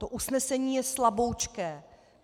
To usnesení je slaboučké.